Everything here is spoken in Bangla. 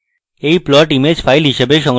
we plot image file হিসাবে সংরক্ষণ করতে পারি